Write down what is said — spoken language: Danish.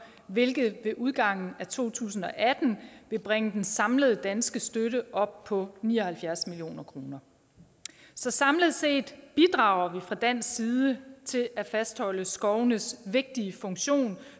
hvilket ved udgangen af to tusind og atten vil bringe den samlede danske støtte op på ni og halvfjerds mio kroner så samlet set bidrager vi fra dansk side til at fastholde skovenes vigtige funktion